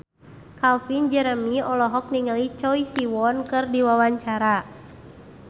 Calvin Jeremy olohok ningali Choi Siwon keur diwawancara